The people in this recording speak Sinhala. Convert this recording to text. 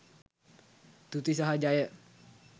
තුති සහ ජය!